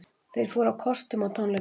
Þeir fóru á kostum á tónleikunum